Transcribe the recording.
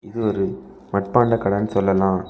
இது ஒரு மட்பாண்ட கடன்னு சொல்லலா.